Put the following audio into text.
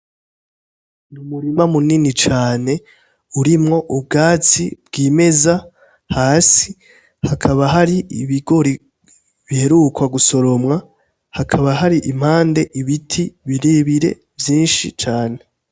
Ni umurima munini cane urimwo ubwatsi bw'imeza hasi hakaba hari ibigore biherukwa gusoromwa hakaba hari impande ibiti birebire vyinshi cane.